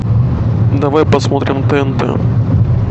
давай посмотрим тнт